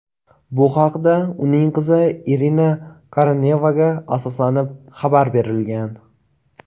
Bu haqda uning qizi Irina Korenevaga asoslanib xabar berilgan.